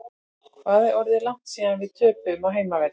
Hvað er orðið langt síðan við töpuðum á heimavelli?